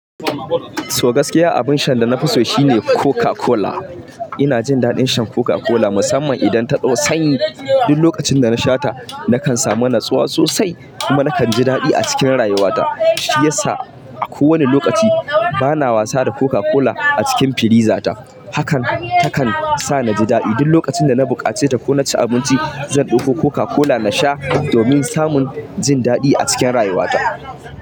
To gaskiya abun shan da na fi so shine Coca-Cola. Ina jin daɗin shan Coca-Cola musamman idan ta ɗau sanyi. Duk lokacin da na sha ta nakan samu natsuwa sosai kuma nakan ji daɗi a cikin rayuwata. Shi yasa a kowane lokaci bana wasa da Coca-Cola a cikin firiza ta. Hakan takan sa ni ji daɗi. Duk lokacin da na buƙaci ta ko na ci abinci zan ɗauko Coca-Cola na sha domin samun jin daɗi a cikin rayuwata.